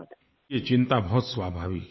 ये चिंता बहुत स्वाभाविक है